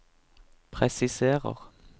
presiserer